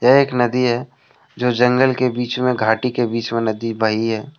यह एक नदी है जो जंगल के बीच में घाटी के बीच में नदी बही है।